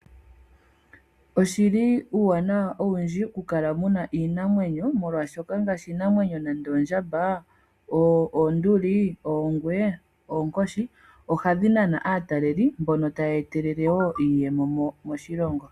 Oshili uuwanawa owundji oku kala muna iinamwenyo molwaashoka iinamwenyo nande oondjamba, oonduli, oongwe, oonkoshi ohadhi nana aataleli mbono taya etelele wo iiyemo moshilongo.